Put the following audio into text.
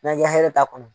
N'an ye ka hɛrɛ t'a kɔnɔ